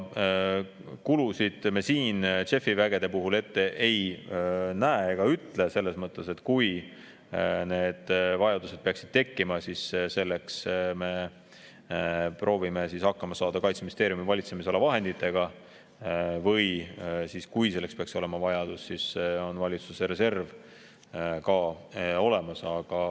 Kulusid me siin JEF‑i vägede puhul ette ei näe ega ütle, selles mõttes, et kui need vajadused peaksid tekkima, siis me proovime hakkama saada Kaitseministeeriumi valitsemisala vahenditega, või kui selleks peaks olema vajadus, siis on valitsuse reserv ka olemas.